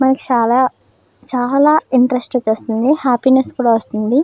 మరి చాలా చాలా ఇంట్రెస్ట్ వస్తుంది హ్యాపీనెస్ కూడా వస్తుంది.